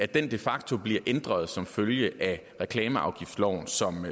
den de facto bliver ændret som følge af reklameafgiftsloven som